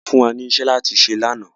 A fún wà ní ìṣẹ̀ láti ṣè lána.